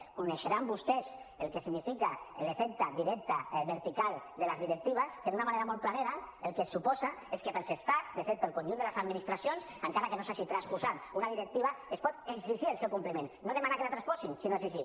deuen conèixer vostès el que significa l’efecte directe vertical de les directives que d’una manera molt planera el que suposa és que per als estats de fet per al conjunt de les administracions encara que no s’hagi transposat una directiva es pot exigir el seu compliment no demanar que la transposin sinó exigir